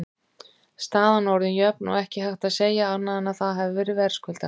Staðan orðin jöfn og ekki hægt að segja annað en að það hafi verið verðskuldað.